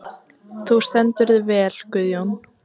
Þú stendur þig vel, Guðjón!